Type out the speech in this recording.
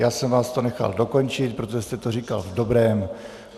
Já jsem vás to nechal dokončit, protože jste to říkal v dobrém.